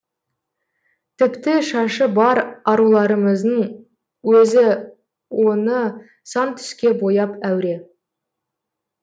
тіпті шашы бар аруларымыздың өзі оны сан түске бояп әуре